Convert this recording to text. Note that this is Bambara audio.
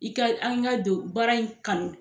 I ka an ka don baara in kanu.